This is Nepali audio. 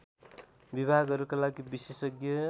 विभागहरूका लागि विशेषज्ञ